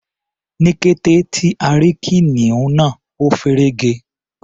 Ní kété tí a rí kìnìún náà, a feré ge.